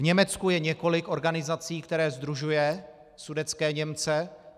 V Německu je několik organizací, které sdružují sudetské Němce.